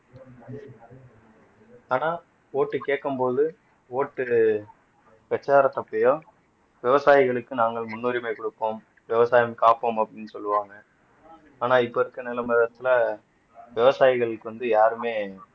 ஆனா ஓட்டு கேட்கும்போது ஓட்டு பிரச்சாரத்து அப்பையோ விவசாயிகளுக்கு நாங்கள் முன்னுரிமை கொடுப்போம் விவசாயம் காப்போம் அப்படீன்னு சொல்லுவாங்க ஆனா இப்ப இருக்க விவசாயிகளுக்கு வந்து யாருமே